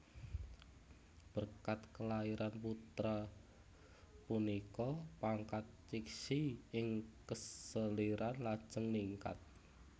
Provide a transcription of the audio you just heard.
Berkat kelahiran putra punika pangkat Cixi ing keseliran lajeng ningkat